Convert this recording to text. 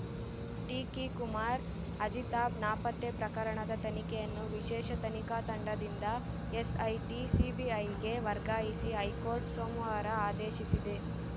ಟಿಕಿ ಕುಮಾರ್‌ ಅಜಿತಾಬ್‌ ನಾಪತ್ತೆ ಪ್ರಕರಣದ ತನಿಖೆಯನ್ನು ವಿಶೇಷ ತನಿಖಾ ತಂಡದಿಂದ ಎಸ್‌ಐಟಿ ಸಿಬಿಐಗೆ ವರ್ಗಾಯಿಸಿ ಹೈಕೋರ್ಟ್‌ ಸೋಮವಾರ ಆದೇಶಿಸಿದೆ